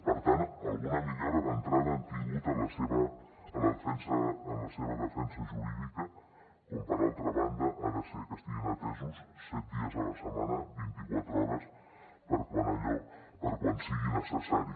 per tant alguna millora d’entrada han tingut en la seva la defensa jurídica com per altra banda ha de ser que estiguin atesos set dies a la setmana vint i quatre hores per quan sigui necessari